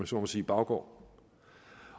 så må sige baggård